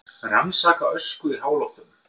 Rannsaka ösku í háloftunum